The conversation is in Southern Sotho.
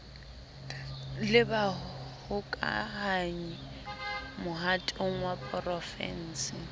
le bahokahanyi mohatong wa porofense